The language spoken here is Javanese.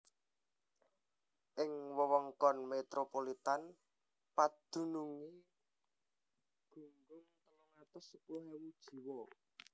Ing wewengkon metropolitan padunungé gunggung telung atus sepuluh ewu jiwa